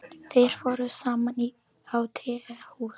Þeir fóru saman á tehús.